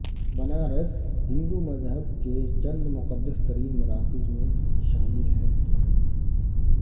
بنارس ہندو مذہب کے چند مقدس ترین مراکز میں شامل ہے